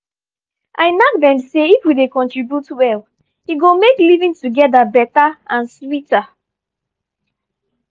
i knack dem say if we dey contribute well e go make living together better and sweeter.